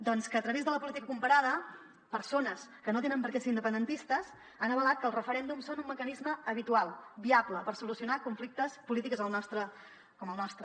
doncs que a través de la política comparada persones que no tenen per què ser independentistes han avalat que els referèndums són un mecanisme habitual viable per solucionar conflictes polítics com el nostre